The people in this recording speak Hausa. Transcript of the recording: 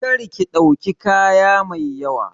Kar ki ɗauki kaya mai yawa!